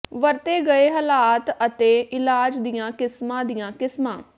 ਵਰਤੇ ਗਏ ਹਾਲਾਤ ਅਤੇ ਇਲਾਜ ਦੀਆਂ ਕਿਸਮਾਂ ਦੀਆਂ ਕਿਸਮਾਂ